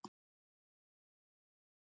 Spá Atla